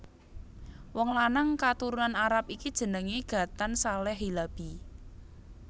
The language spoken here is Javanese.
Wong lanang katurunan Arab iki jenengé Ghatan Saleh Hilabi